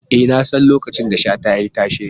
E, nasan lokacin da Shata ya yi tashe.